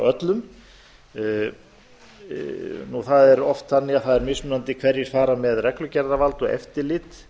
öllum það er oft þannig að það er mismunandi hverjir fara með reglugerðarvald og eftirlit